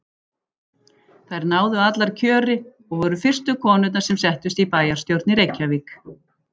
Þær náðu allar kjöri og voru fyrstu konurnar sem settust í bæjarstjórn í Reykjavík.